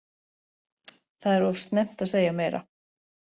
Það er of snemmt að segja meira,